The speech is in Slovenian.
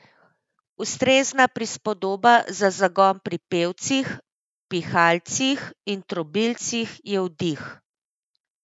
Ustrezna prispodoba za zagon pri pevcih, pihalcih in trobilcih je vdih.